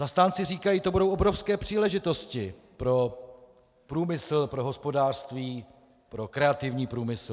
Zastánci říkají: to budou obrovské příležitosti pro průmysl, pro hospodářství, pro kreativní průmysl.